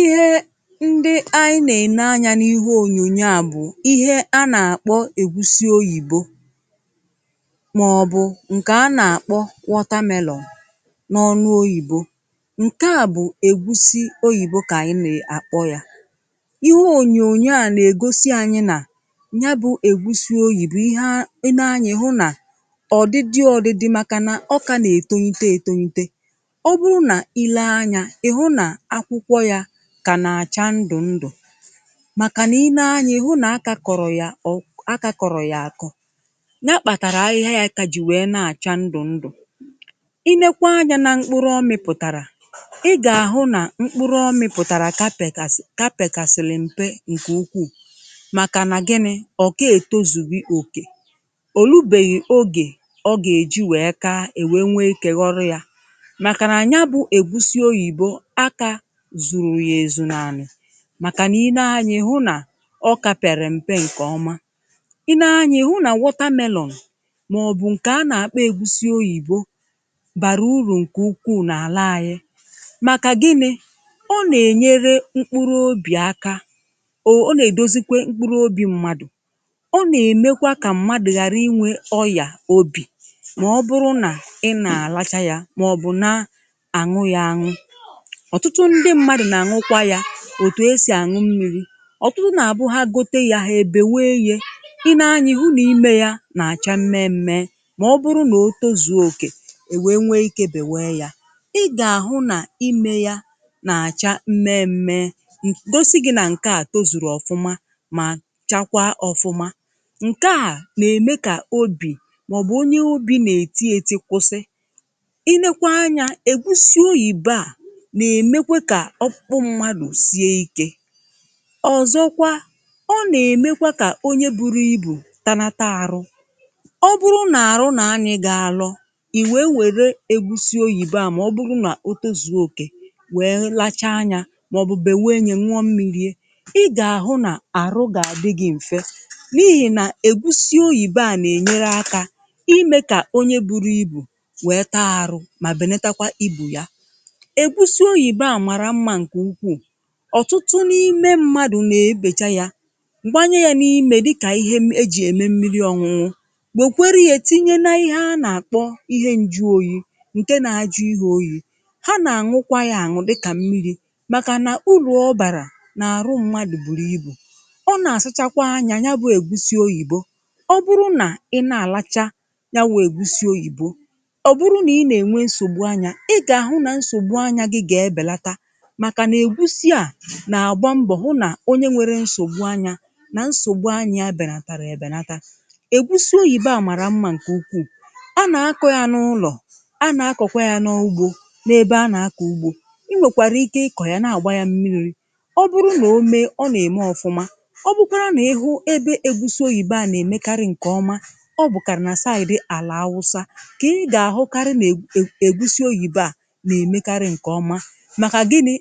Ihe ndị anyị na-èné anya n’ihu onyonyo a bụ ihe a na-akpọ ègúsí oyìbo, maọbụ nke a na-akpọ watermelon n’ọnụ oyìbo. Nke a bụ ègúsí oyìbo ka anyị na-akpọ ya. Ihe onyonyo a na-egosi anyị na ya bụ ègúsí oyìbo, ihe a na-etunye, etu etunye ya, ka na-acha ndụ ndụ, n’ihi na i lee anya, ihe ụ na-aka kọrọ ya, ọ na-aka kọrọ ya, akọnya kpatara ahịhịa ya, aka ji wee na-acha ndụ ndụ. I lekwanụ anya, ị ga-ahụ na mkpụrụ ọ mịpụtara dị ka pekàs, ka pekàsịlị mpe nke ukwu, n’ihi na gịnị ọ ka e tozùbì? Ọ ka òlùbeghị oge ọ ga-eji wee kewa, nwee kegoro ya, zụta ya ezù. Naanị maka na i lee anya, ị hụ na ọ ka pịa rị mpe nke ọma. I lee anya, ị hụ na wọta melon, maọbụ nke a na-akpọ ègúsí oyìbo bara uru nke ukwu n’ala anyị, maka gịnị ọ na-enyere mkpụrụ obi aka. Ọ na-edozi kwa mkpụrụ obi mmadụ, ọ na-eme ka mmadụ ghara inwe ọyà obi, maọbụ na ị na-alacha ya, maọbụ na ị na-aṅụ ya otu esi aṅụ mmiri. Ọtụtụ na-azụ ya ebe wee rie. I le anyị hụ, na i mee ya na-acha mmẹ mẹẹ, ma ọ bụrụ na o tozuo oke, e nwee ike belata ya. Ị ga-ahụ na i mee ya, na-acha mmẹ mẹẹ. M gosiri gị na nke a tozuru ọma ma chakwa ofụma. Nke a na-eme ka obi, maọbụ onye obi na-etinye eti, kwụsị. I lekwanụ anya, ègúsí oyìbo a, ọzọkwa, ọ na-eme ka onye buru ibù, tanata arụ, ọ bụrụ na arụ na, anyị ga-alọ i nwee nwèrè ègúsí oyìbo ma ọ bụrụ na o tezùoke, wee lacha anya, maọbụ bɛwee nye nwụọ mmiri, e, ị ga-ahụ na arụ ga-adị gị mfe. N’ihi na ègúsí oyìbo a na-enyere aka ime ka onye bụ ibù wee taa arụ, ma belatakwa ibu ya. Ọtụtụ n’ime mmadụ na-ebechaa ya mgbe anya ya n'ime, dịka ihe eji eme mmiri ọnwụnwụ, wèkweri ya etinye n’ihe ha na-akpọ ihe nju oyi nke na-ajụ ihe oyi. Ha na-aṅụkwa ya aṅụ dị ka mmiri. Maka na ụlọ ọbara, n’arụ mmadụ, buru ibù, ọ na-asachakwa anya ya bụ ègúsí oyìbo. Ọ bụrụ na ị na-alacha ya, wu ègúsí oyìbo, ọ bụrụ na ị nwere nsogbu anya, na-agba mbọ hụ na onye nwere nsogbu anya na nsogbu obi abụghị ntàrà. Ègúsí oyìbo a mara mma nke ukwu. A na-akọ ya n’ụlọ, a na-akọkọ ya n’ugbo, n’ebe a na-akọ ugbo. Ị nwekwara ike ịkọ ya, na-agba ya mmiri. Ọ bụrụ na o mee, ọ na-eme ofụma. Ọ bụrụ na ị hụ ebe ègúsí oyìbo a na-eme nke ọma, ọ bụkarị na saìrì dị àlà Awụsa ka e ga-ahụkarị ègúsí oyìbo a na-eme nke ọma. E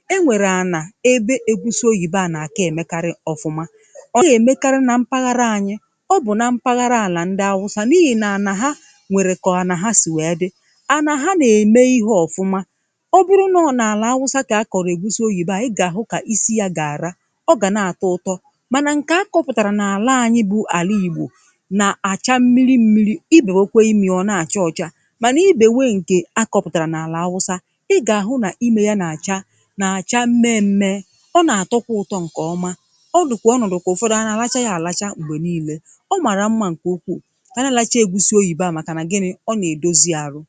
nwekwara ànà ebe ègúsí oyìbo a na-akọ eme karị ofụma. Ọ ga-eme karị na mpaghara anyị, ọ bụ na mpaghara àlà ndị Hausa n’ihi na ànà ha nwere ka ọ, ànà ha si wee dị, ànà ha na-eme ihe ofụma. Ọ bụrụ n’ọ na àlà Hausa ka ha kọrọ ègúsí oyìbo a, ị ga-ahụ ka isi ya gara ọ ga na-atọ ụtọ. Mana nke akọrọpụtara n’ala anyị bụ ala Igbo, na-acha mmiri mmiri, ibewe kwa imi, ọ na-acha ọcha. Mana ibewe nke akọrọpụtara na ala Awụsa, ị ga-ahụ na ime ya na-acha. Ọ na-atọkwa ụtọ nke ọma! Ọ dụkwa ọnọdu ka ụfọdụ anaghachaghị ya alacha mgbe niile. Ọ maara mma nke ukwuu anaghachaghị egwùsi oyìbo maka na gịnị? Ọ na-edozi arụ!